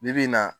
Bi bi in na